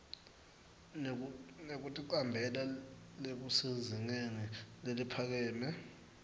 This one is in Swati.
nekuticambela lokusezingeni leliphakeme